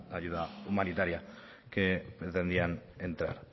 ayuda humanitaria que pretendían entrar